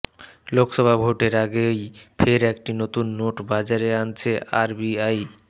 লোকসভা ভোটের আগেই ফের একটি নতুন নোট বাজারে আনছে আরবিআই